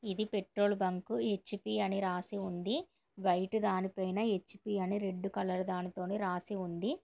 ఇది petrol bunk HP అని రాసి ఉంది వైట్ దాని పైన హెచ్_పి అని రెడ్ కలర్ దానిటోని రాసి ఉంది.